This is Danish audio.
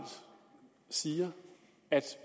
siger at